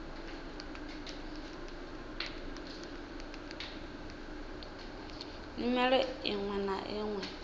nyimele iṅwe na iṅwe i